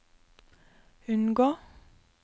unngå